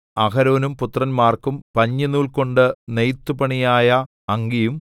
അഹരോനും പുത്രന്മാർക്കും പഞ്ഞിനൂൽകൊണ്ട് നെയ്ത്തുപണിയായ അങ്കിയും